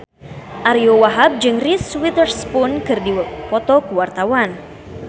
Ariyo Wahab jeung Reese Witherspoon keur dipoto ku wartawan